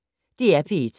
DR P1